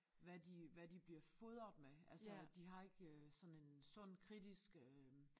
Hvad de hvad de bliver fodret med altså de har ikke sådan en sund kritisk øh